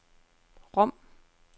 Rom